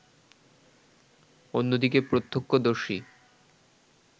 অন্যদিকে প্রত্যক্ষদর্শী